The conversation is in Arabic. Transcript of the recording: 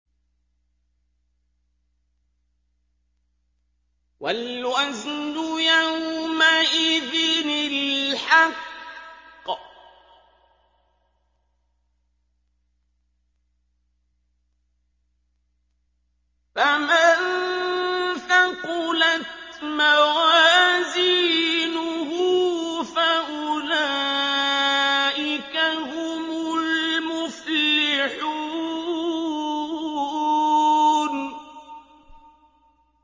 وَالْوَزْنُ يَوْمَئِذٍ الْحَقُّ ۚ فَمَن ثَقُلَتْ مَوَازِينُهُ فَأُولَٰئِكَ هُمُ الْمُفْلِحُونَ